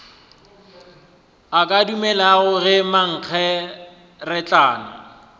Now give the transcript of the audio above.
a ka dumelago ge mankgeretlana